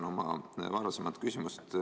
Ma jätkan oma varasemat küsimust.